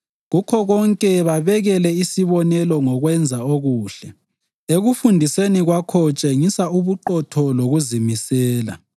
Kukho konke babekele isibonelo ngokwenza okuhle. Ekufundiseni kwakho tshengisa ubuqotho lokuzimisela